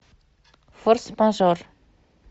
форс мажор